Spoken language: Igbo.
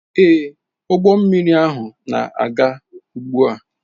Ee, ụgbọ mmiri ahụ na-aga ugbu a.